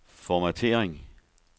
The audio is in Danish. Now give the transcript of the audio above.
formattering